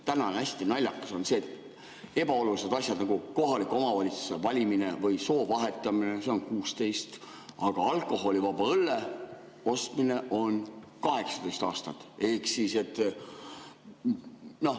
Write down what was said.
Täna on hästi naljakas see, et ebaoluliste asjade puhul, nagu kohaliku omavalitsuse valimine või soo vahetamine, on 16 aastat, aga alkoholivaba õlle ostmise puhul on 18 aastat.